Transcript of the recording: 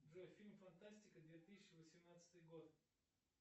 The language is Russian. джой фильм фантастика две тысячи восемнадцатый год